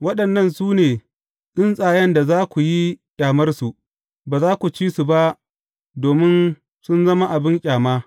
Waɗannan su ne tsuntsayen da za ku yi ƙyamarsu, ba za ku ci su ba domin sun zama abin ƙyama.